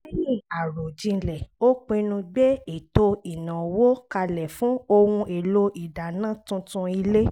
lẹ́yìn àròjinlẹ̀ ó pinnu gbé ètò ìnáwó kalẹ̀ fún ohun èlò ìdáná tuntun ilé